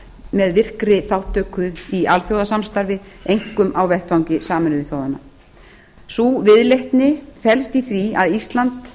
með virkri þátttöku í alþjóðasamstarfi einkum á vettvangi sameinuðu þjóðanna sú viðleitni felst í því að ísland